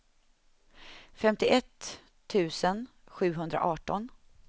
femtioett tusen sjuhundraarton